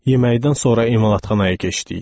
Yeməkdən sonra emalatxanaya keçdik.